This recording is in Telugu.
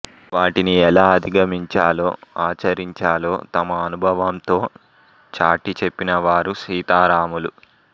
వాటిని ఎలా అధిగమించాలో ఆచరించాలో తమ అనుభవంతో చాటి చెప్పినవారు సీతారాములు